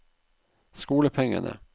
skolepengene